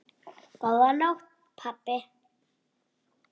Góða nótt pabbi.